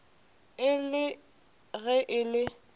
e le ge e le